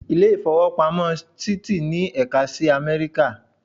Ilé ìfowópamọ́ Citi ní ẹ̀ka sí Amẹ́ríkà.